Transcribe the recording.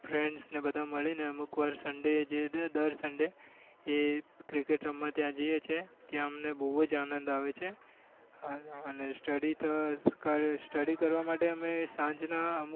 friends ને બધા મળીને અમુક વાર sunday જે દર sunday એ cricket રમવા ત્યાં જઈએ છીએ ત્યાં અમને બહુ જ આનંદ આવે છે અને study તો study કરવા માટે તો અમે સાંજના અમુક